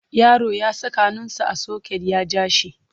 Yaro ya saka hannunsa a soket ya ja shi.